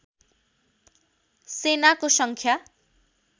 सेनाको सङ्ख्या